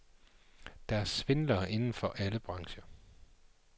Der er svindlere inden for alle brancher.